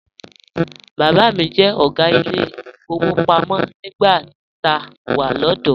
Bàbá mi jẹ́ ọ̀gá ilé ìfowópamọ́ nígbà tá a wà lọ́dọ̀ọ́.